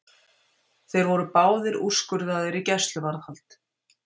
Þeir voru báðir úrskurðaðir í gæsluvarðhald